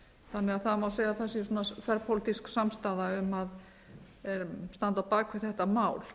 að það má segja að það sé svona þverpólitísk samstaða um að standa á bak við þetta mál